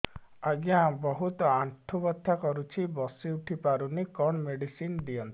ଆଜ୍ଞା ବହୁତ ଆଣ୍ଠୁ ବଥା କରୁଛି ବସି ଉଠି ପାରୁନି କଣ ମେଡ଼ିସିନ ଦିଅନ୍ତୁ